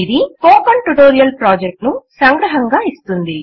ఇది spoken tutorial project ను సంగ్రహముగా ఇస్తుంది